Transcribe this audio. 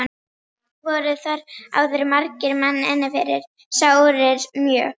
Voru þar áður margir menn inni fyrir sárir mjög.